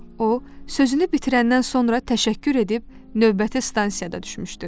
O, sözünü bitirəndən sonra təşəkkür edib növbəti stansiyada düşmüşdü.